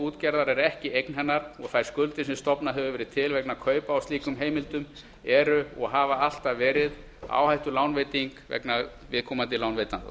útgerðar er ekki eign hennar og þær skuldir sem stofnað hefur verið til vegna kaupa á slíkum heimildum eru og hafa alltaf verið áhættulánveiting viðkomandi lánveitenda